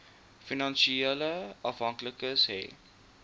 finansiële afhanklikes hê